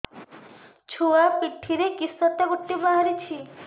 ଛୁଆ ପିଠିରେ କିଶଟା ଗୋଟେ ବାହାରିଛି